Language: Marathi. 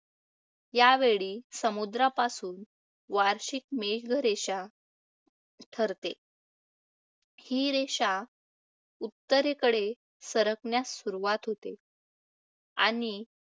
यावेळी, समुद्रापासून वार्षिक मेघरेखा ठरते. ही रेखा उत्तरेकडे सरकण्यास सुरुवात होते, आणि